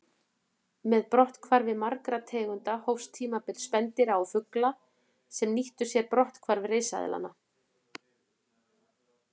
Með brotthvarfi margra tegunda hófst tímabil spendýra og fugla sem nýttu sér brotthvarf risaeðlanna.